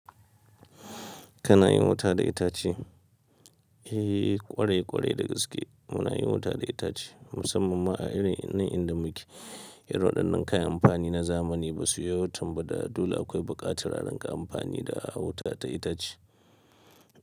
Kana yin wuta da itace? Eh, ƙwarai-ƙwarai da gaske muna yin wuta da itace, musamman ma a irin nan inda muke. Irin waɗannan kayan amfani na zamani ba su yawaitan ba da, dole akwai buƙatar a rinƙa amfani da wuta ta itace.